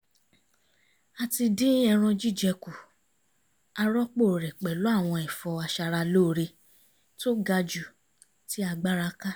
a ti dín ẹran jíjẹ kù a rọ́pò rẹ̀ pẹ̀lú àwọn ẹ̀fọ́ aṣaralóore tó ga jù tí agbára ká